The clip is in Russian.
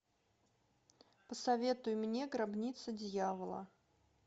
посоветуй мне гробница дьявола